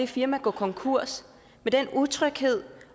firmaet går konkurs med utryghed